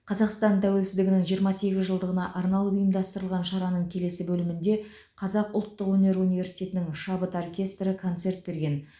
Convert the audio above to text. қазақстан тәуелсіздігінің жиырма сегіз жылдығына арналып ұйымдастырылған шараның келесі бөлімінде қазақ ұлттық өнер университетінің шабыт оркестрі концерт берген